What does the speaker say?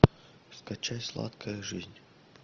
скачай сладкая жизнь